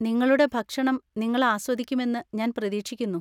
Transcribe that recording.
നിങ്ങളുടെ ഭക്ഷണം നിങ്ങൾ ആസ്വദിക്കുമെന്ന് ഞാൻ പ്രതീക്ഷിക്കുന്നു.